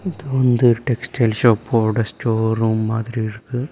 இது வந்து டெக்ஸ்டைல் ஷாப்போட ஸ்டோர் ரூம் மாதிரி இருக்கு.